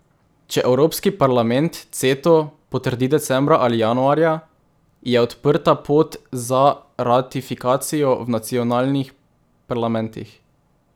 Če Evropski parlament Ceto potrdi decembra ali januarja, je odprta pot za ratifikacijo v nacionalnih parlamentih.